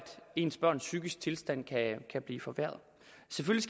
ens børns psykiske tilstand kan blive forværret